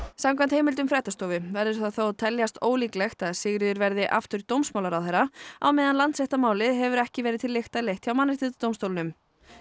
samkvæmt heimildum fréttastofu verður það þó að teljast ólíklegt að Sigríður verði aftur dómsmálaráðherra á meðan Landsréttarmálið hefur ekki verið til lykta leitt hjá Mannréttindadómstólnum